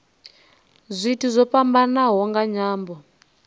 zwithu zwo fhambanaho nga nyambo